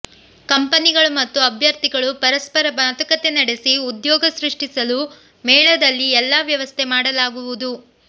ಕಂಪನಿಗಳು ಮತ್ತು ಅಭ್ಯರ್ಥಿಗಳು ಪರಸ್ಪರ ಮಾತುಕತೆ ನಡೆಸಿ ಉದ್ಯೋಗ ಸೃಷ್ಟಿಸಲು ಮೇಳದಲ್ಲಿ ಎಲ್ಲಾ ವ್ಯವಸ್ಥೆ ಮಾಡಲಾಗುವುದು